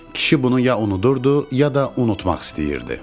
Kişi bunu ya unudurdu, ya da unutmaq istəyirdi.